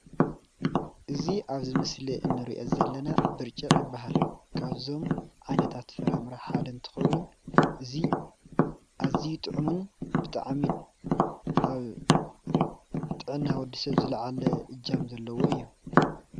እዚ አብ ምስሊ እንሪኦ ዘለና ብጭርቅ ይባሃል። ካብዞም ዓይነታት ፍራምረ ሓደ እንትኸውን እዚ አዝዩ ጥዕምን ብጣዕሚ አብ ጥዕና ወዲ ሰብ ዝላዓለ እጃም ዘለዎ እዩ፡፡